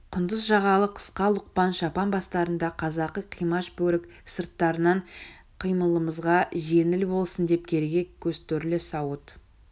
құндыз жағалы қысқа лұқпан шапан бастарында қазақы қимаш бөрік сырттарынан қимылымызға жеңіл болсын деп кереге көз торлы сауыт